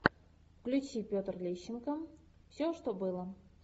включи петр лещенко все что было